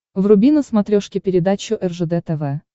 вруби на смотрешке передачу ржд тв